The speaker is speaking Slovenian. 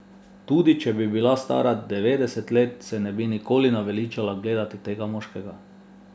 Tudi če bi bila stara devetdeset let, se ne bi nikoli naveličala gledati tega moškega.